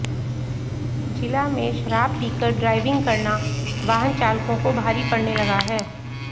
जिला में शराब पीकर ड्राइविंग करना वाहन चालकों को भारी पड़ने लगा है